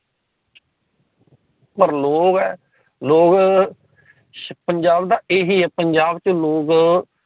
ਪਰ ਲੋਗ ਹੈ ਲੋਗ ਪੰਜਾਬ ਦਾ ਏਹੀ ਪੰਜਾਬ ਚ ਲੋਗ